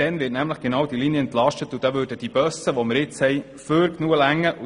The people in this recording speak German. Dann wird diese Linie nämlich entlastet und die jetzigen Busse würden dann füglich ausreichen.